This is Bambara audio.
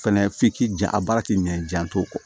Fɛnɛ f'i k'i jan a baara k'i minɛ jan t'o kɔ